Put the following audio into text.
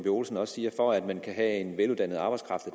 olsen også siger for at man kan have en veluddannet arbejdskraft